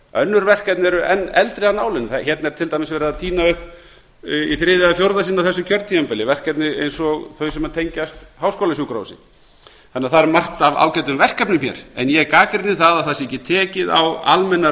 önnur verkefni eru enn eldri af nálinni hérna er til dæmis tínt upp í þriðja eða fjórða sinn á þessu kjörtímabili verkefni eins og þau sem tengjast háskólasjúkrahúsi það er margt af ágætum verkefnum hér en ég gagnrýni að það sé ekki tekið á almennu